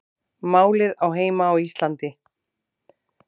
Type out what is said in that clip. Málið á heima á Íslandi